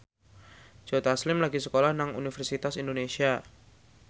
Joe Taslim lagi sekolah nang Universitas Indonesia